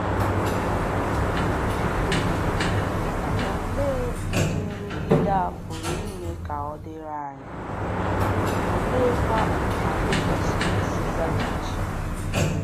Olee ụdị ụdị nrụgide a pụrụ ime ka ọ dịrị anyị, oleekwa otú anyị kwesịrị isi zaghachi?